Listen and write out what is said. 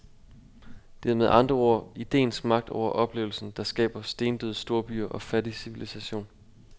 Det er med andre ord ideens magt over oplevelsen, der skaber stendøde storbyer og fattig civilisation.